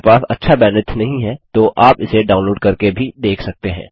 यदि आपके पास अच्छा बैन्ड्विड्थ नहीं है तो आप इसे डाउनलोड़ करके भी देख सकते हैं